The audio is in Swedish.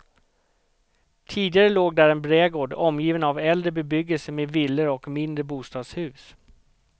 Tidigare låg där en brädgård omgiven av äldre bebyggelse med villor och mindre bostadshus.